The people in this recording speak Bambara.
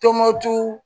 Tɔnbukutu